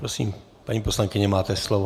Prosím, paní poslankyně, máte slovo.